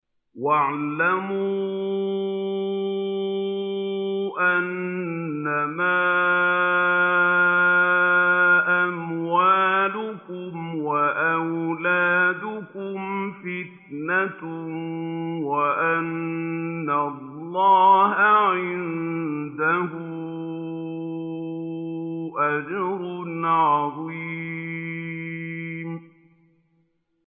وَاعْلَمُوا أَنَّمَا أَمْوَالُكُمْ وَأَوْلَادُكُمْ فِتْنَةٌ وَأَنَّ اللَّهَ عِندَهُ أَجْرٌ عَظِيمٌ